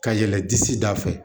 Ka yɛl disi da fɛ